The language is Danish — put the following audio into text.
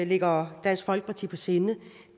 ligger dansk folkeparti på sinde